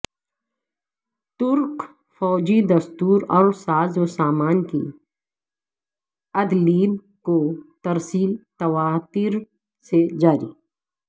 ترک فوجی دستوں اور سازو سامان کی عدلیب کو ترسیل تواتر سے جاری